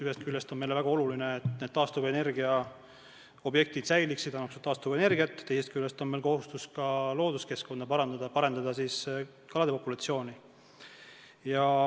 Ühest küljest on meile väga oluline, et need taastuvenergiaobjektid säiliksid ja annaksid taastuvenergiat, teisest küljest on meil kohustus looduskeskkonda parandada ja parendada kalapopulatsiooni.